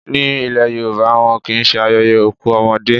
Ní ile Yorùbá, wọn kì í ṣe ayẹyẹ òkú ọmọdé.